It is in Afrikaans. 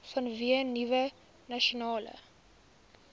vanweë nuwe nasionale